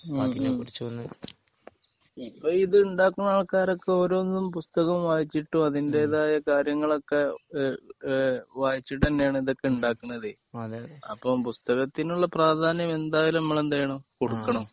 ഹ്മ് ഹ്മ് ഇപ്പൊ ഇത് ഉണ്ടാക്കുന്ന ആൾക്കാരൊക്കെ ഓരോന്നും പുസ്തകം വായിച്ചിട്ടും അതിന്റെതായ കാര്യങ്ങളൊക്കെ ഏഹ് ഏഹ് വായിച്ചിട്ട് തന്നെയാണ് ഇതൊക്കെ ഉണ്ടാക്കുന്നത്. ഓഹ് അപ്പൊ പുസ്തകത്തിനുള്ള പ്രാധാന്യം എന്തായാലും നമ്മള് എന്ത് ചെയ്യണം? കൊടുക്കണം.